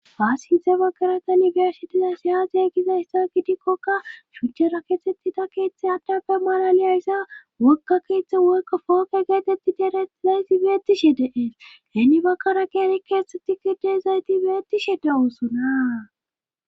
faassinthe bagaraka nigarsitiza siyazey giza issa gitikkoka shuchchera keetxettita keeththe hattappe maalaliyayssa wokka keeththe wokka fooke geetetti daraizayti beetishe deees heni bakkara ke ari keethteti gide zayti beetishe da woosona